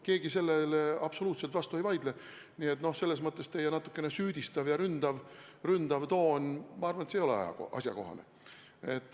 Keegi sellele absoluutselt vastu ei vaidle, nii et selles mõttes teie natukene süüdistav ja ründav toon ei ole asjakohane.